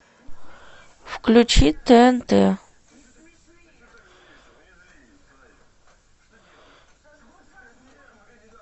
включи тнт